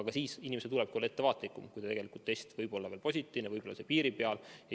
Ka siis tuleb inimesel olla ettevaatlikum, kui test võib olla veel positiivne, on võib-olla piiri peal.